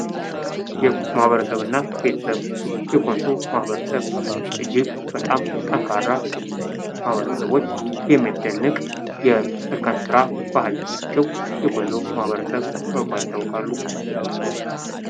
ማኅበረሰብ እና ቤተሰብ ። የኮንሶ ማኅበረሰብ እጅግ በጣም ጠንካራ ማኅበረሰቦች የሚያስደንቅ የእርከን ስራ ባህል ያላቸው የኮንሶ ማኅበረሰብ በመባል ይታወቃሉ ።